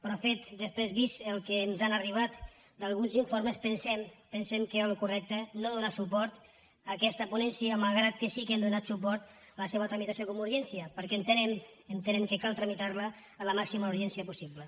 però després vist el que ens ha arribat d’alguns informes pensem que era el correcte no donar suport a aquesta ponència malgrat que sí que hem donat suport a la seva tramitació com a urgència perquè entenem que cal tramitar la amb la màxima urgència possible